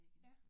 Ja